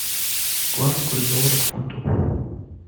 главный курс доллара к фунту